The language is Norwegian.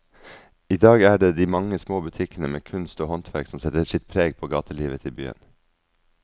I dag er det de mange små butikkene med kunst og håndverk som setter sitt preg på gatelivet i byen.